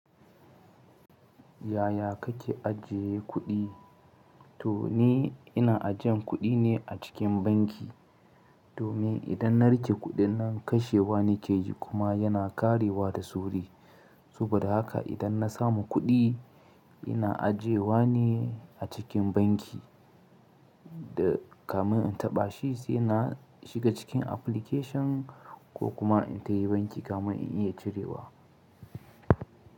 Yaya kake ajiye kuɗi? To ni ina ajiyan kuɗi ne a cikin banki, domin idan na riƙe kuɗin nan kashewa nake yi kuma yana ƙarewa da sauri. Saboda haka idan na samu kuɗi ina ajiyewa ne a cikin banki da kamar in taɓa shi sai na shiga cikin application ko kuma in tafi banki kamar in iya cirewa.